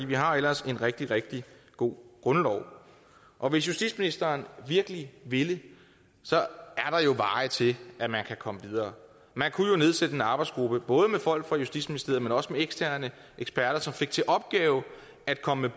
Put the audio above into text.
vi har ellers en rigtig rigtig god grundlov og hvis justitsministeren virkelig ville er der jo veje til at man kan komme videre man kunne nedsætte en arbejdsgruppe både med folk fra justitsministeriet men også med eksterne eksperter som fik til opgave at komme